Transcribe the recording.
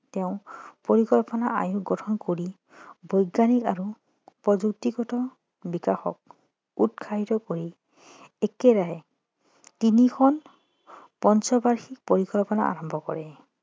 তেওঁ পৰিকল্পনা আয়োগ গঠন কৰি বৈজ্ঞানিক আৰু প্ৰযুক্তিগত বিকাশক উৎসাহিত কৰিছিল একেৰাহে তিনিখন পঞ্চবাৰ্ষিক পৰিকল্পনা আৰম্ভ কৰে